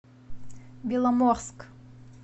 беломорск